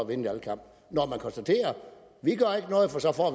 en valgkamp når man konstaterer